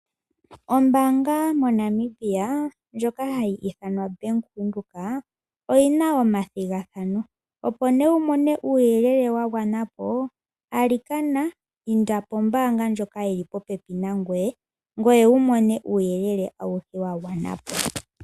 Oombanga monamibia ndjoka hayi ithanwa bank Windhoek oyina omathigathano opo nee wumone uuyelele wagwanapo alikana inda pombaanga ndjoka yili popepi nangoye ngoye wumone uuyelele aushe mboka wagwanapo.